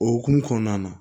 O hukumu kɔnɔna na